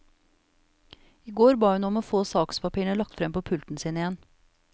I går ba hun om å få sakspapirene lagt frem på pulten sin igjen.